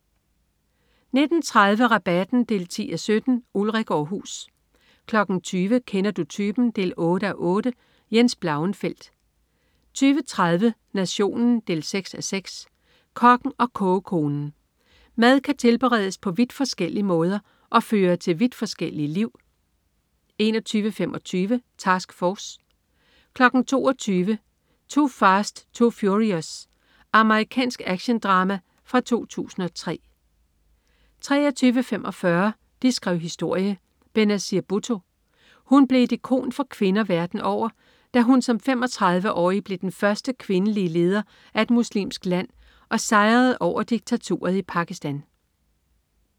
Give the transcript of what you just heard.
19.30 Rabatten 10:17. Ulrik Aarhus 20.00 Kender du typen? 8:8. Jens Blauenfeldt 20.30 Nationen 6:6. Kokken og kogekonen. Mad kan tilberedes på vidt forskellige måder og føre til vidt forskellige liv 21.25 Task Force 22.00 2 Fast 2 Furious. Amerikansk actiondrama fra 2003 23.45 De skrev historie: Benazir Bhutto. Hun blev et ikon for kvinder verden over, da hun som 35-årig blev den første kvindelige leder af et muslimsk land og sejrede over diktaturet i Pakistan